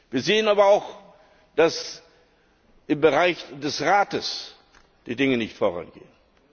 Wir sehen aber auch, dass im Bereich des Rates die Dinge nicht vorangehen.